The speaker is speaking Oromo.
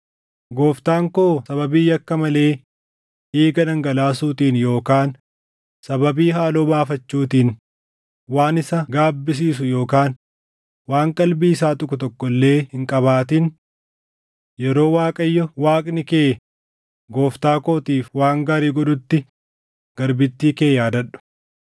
gooftaan koo sababii yakka malee dhiiga dhangalaasuutiin yookaan sababii haaloo baafachuutiin waan isa gaabbisiisu yookaan waan qalbii isaa tuqu tokko illee hin qabaatin. Yeroo Waaqayyo Waaqni kee gooftaa kootiif waan gaarii godhutti garbittii kee yaadadhu.”